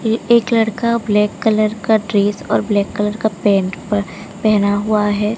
ये एक लड़का ब्लैक कलर का ड्रेस और ब्लैक कलर का पैंट पर पहना हुआ है।